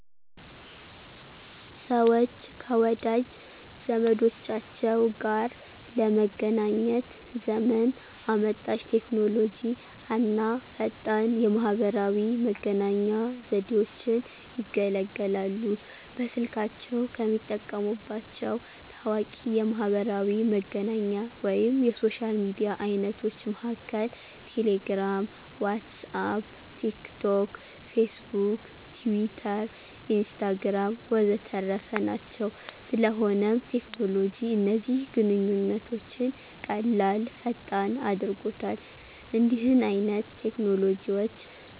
ሰወች ከወዳጅ ዘመዶቻቸው ጋር ለመገናኘት ዘመን አመጣሽ ቴክኖሎጂ አና ፈጣን የማህበራዊ መገናኛ ዘዴወችን ይገለገላሉ። በስልካቸው ከሚጠቀሙባቸው ታዋቂ የማሕበራዊ መገናኛ ወይም የሶሻል ሚዲያ አይነቶች መሀከል ቴሌግራም፣ ዋትስአፕ፣ ቲክ ቶክ፣ ፌስቡክ፣ ቲዊተር፣ ኢንስታግራም ወዘተረፈ ናቸው። ስለሆነም ቴክኖሎጂ እነዚህን ግንኙነቶች ቀላል፥ ፈጣን አድርጎታል። እንዲህን አይነት ቴክኖሎጂዎች